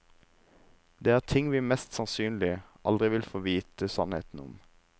Dette er ting vi mest sannsynlig aldri vil få vite sannheten om.